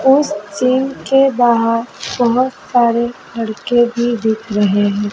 उस चीन के बाहर बहोत सारे लड़के भी दिख रहे है।